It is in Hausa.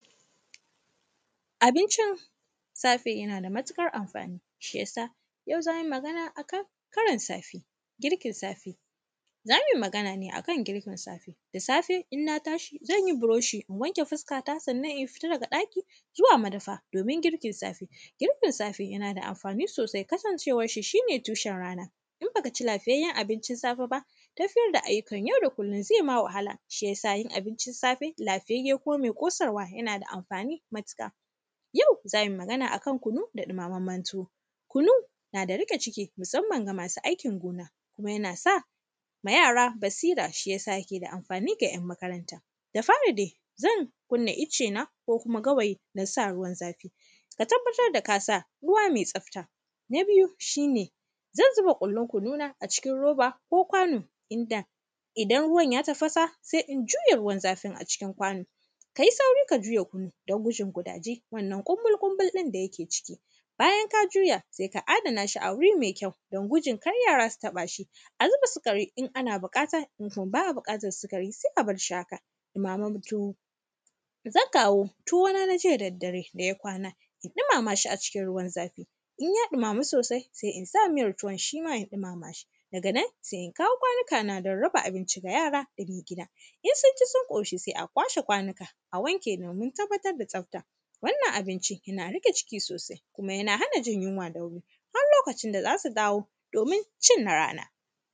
Abincin safe, yana da matiƙar amfani, shi ya sa, yau za mi magana a kan karin safe, girkin safe. Za mi magana ne a kan girkin safe, da safe, in na tashi zan yi buroshi, in wanke fuskata, sannan in fita daga ɗaki zuwa madafam, domin girkin safe. Girkin safe, yana da amfani sosai kasancewar shi, shi ne tushen rana. In ba ka ci lafiyayyen abinncin safe ba, tafiyar da ayyukan yau da kullin ze ma wahala. Shi ya sa, yin abincin safe lafiyayye ko me ƙosarwa, yana da amfani matiƙa. Yau, za mi magana a kan kunu da ɗimammamen tuwo, kunu na da riƙe ciki musamman ga masu aikin gona, kuma yana sa ma yara basira, shi ya sa yake da amfani ga ‘yan makaranta. Da fari de, zan kunna icena, ko kuma gawayi, na sa ruwan zafi. Ka tabbatar da ka sa ruwa me tsafta, na biyu, shi ne zan ziba ƙullin kununa a cikin roba ko kwano, inda idan ruwan ya tafasa, se in juye ruwan zafin a cikin kwano. Ka yi sauri ka juye kunun don gudun gudaje, wannan ƙunbul-ƙunbul ɗin da yake ciki. Bayan ka juya, se ka adana shi a wuri me kyau, don gudun kar yara su taƃa shi. A zuba sikari in ana biƙata, in kuma ba a biƙatar sikari se a bar shi haka. Ɗimaman tuwo, zan kawo tuwona na jiya da daddare da ya kwana, in ɗimama shi a cikin ruwan zafi, in ya ɗimamu sosai, sai in sa miyar tuwan shi ma in ɗimama shi. Daga nan, se in kawo kwanikana don raba abinci ga yara da ke gida. In sun ci sun ƙoshi, se a kwashe kwanika, a wanke domin tabbatar da tsafta. Wannan abinci, yana riƙe ciki sosai, kuma yana hana jin yinwa da wuri, har lokacin da za su dawo domin cin na rana.